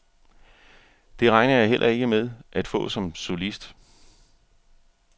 Det regner jeg heller ikke med at få som solist.